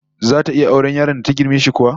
Zata iya auren yaron da ta girme shi kuwa?